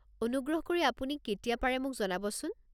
অনুগ্ৰহ কৰি আপুনি কেতিয়া পাৰে মোক জনাবচোন।